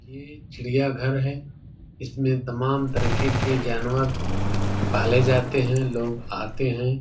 ये चिड़ियाघर है। इसमे तमाम तरीके के जानवर पाले जाते हैं। लोग आते हैं।